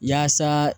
Yaasa